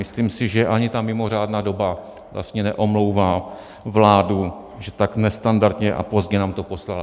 Myslím si, že ani ta mimořádná doba vlastně neomlouvá vládu, že tak nestandardně a pozdě nám to poslala.